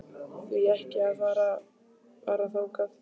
Því ekki að fara bara þangað?